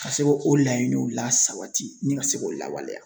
Ka se k'o laɲiniw lasabati nin ka se k'o lawaleya.